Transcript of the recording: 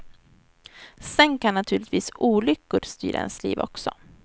Sen kan naturligtvis olyckor styra ens liv också.